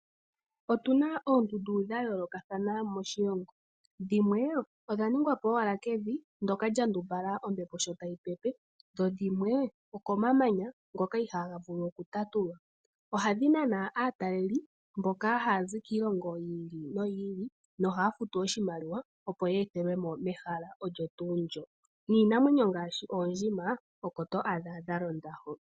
Otu na oondundu dha yoolokathana moshilongo, dhimwe odha ningwa po owala kevi ndoka lya ndumbala ombepo sjo tayi pepe. Dho dhimwe okomamanya ngoka ihaga vulu okutatulwa. Ohadhi nana aataleli mboka haya zi kiilongo yi ili noyi ili nohaya futu oshimaliwa opo ya ethelwe mo mehala olyo nduu ndo. Niinamwenyo ngaashi oondjima oko to adha dha londa hoka.